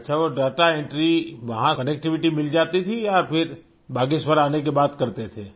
अच्छा वो data entry वहाँ कनेक्टिविटी मिल जाती थी या फिर बागेश्वर आने के बाद करते थे